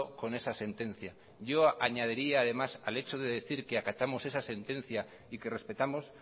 con esa sentencia yo añadiría además al hecho de decir que acatamos esa sentencia y que respetamos